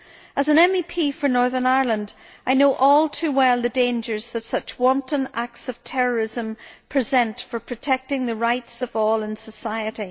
As an MEP for Northern Ireland, I know all too well the dangers that such wanton acts of terrorism present for protecting the rights of all in society.